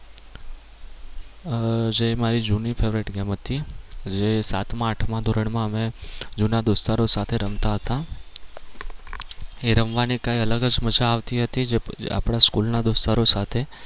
આહ જે મારી જૂની favorite game હતી એ સાતમાં આઠમાં ધોરણ માં અમે જૂના દોસ્તારો સાથે રમતા હતા એ રમવાની કઈ અલગ જ મજા આવતી હતી જે આપણા સ્કૂલના દોસ્તારો સાથે.